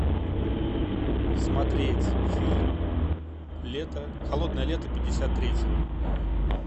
смотреть фильм лето холодное лето пятьдесят третьего